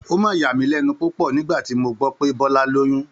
Ó mà yà mí lẹ́nu púpọ̀ nígbà tí mo gbọ́ pé Bọ́lá lóyún